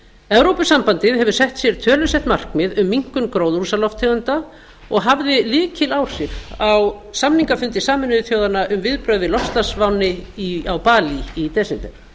evrópusambandið hefur sett sér tölusett markmið um minnkun gróðurhúsalofttegunda og hafði lykiláhrif á samningafundi sameinuðu þjóðanna um viðbrögð við loftslagsvánni á balí í desember